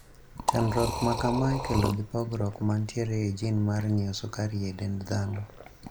Chandruok makama ikelo gi pogruok mantiere e gin mar ng'iyo sukari e dend dhano.